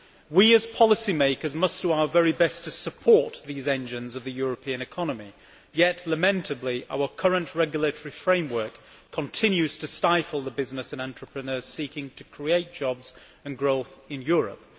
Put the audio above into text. We as policy makers must do our very best to support these engines of the European economy, yet lamentably our current regulatory framework continues to stifle business and entrepreneurs seeking to create jobs and growth in Europe.